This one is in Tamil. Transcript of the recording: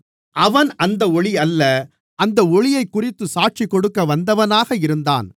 அவன் அந்த ஒளியல்ல அந்த ஒளியைக்குறித்துச் சாட்சிகொடுக்க வந்தவனாக இருந்தான்